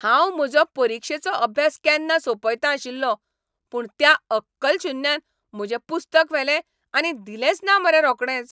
हांव म्हजो परिक्षेचो अभ्यास केन्ना सोंपयतां आशिल्लों, पूण त्या अक्कलशुन्यान म्हजें पुस्तक व्हेलें आनी दिलेंच ना मरे रोकडेंच!